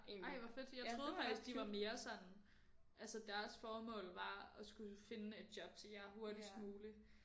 Ej hvor fedt jeg troede faktisk de var mere sådan altså deres formål var at skulle finde et job til jer hurtigst muligt